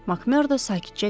MakMerdo sakitcə dedi.